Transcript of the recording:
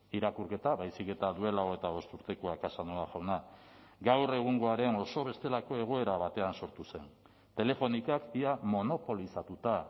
irakurketa baizik eta duela hogeita bost urtekoa casanova jauna gaur egungoaren oso bestelako egoera batean sortu zen telefonicak ia monopolizatuta